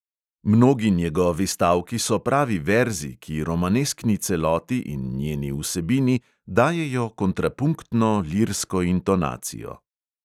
Mnogi njegovi stavki so pravi verzi, ki romaneskni celoti in njeni vsebini dajejo kontrapunktno lirsko intonacijo.